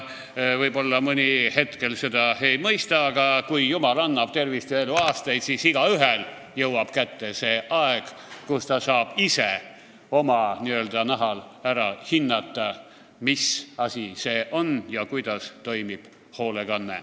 Võib-olla mõni hetkel seda ei mõista, aga kui jumal annab tervist ja eluaastaid, siis igaühel jõuab kätte see aeg, kui ta saab ise oma nahal ära hinnata, mis asi see hoolekanne on ja kuidas toimib.